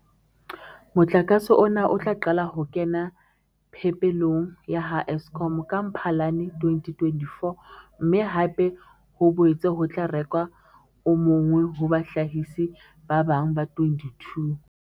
Motlakase ona o tla qala ho kena phepelong ya ha Eskom ka Mphalane 2024, mme hape ho boetse ho tla rekwa o mong ho bahlahisi ba bang ba 22.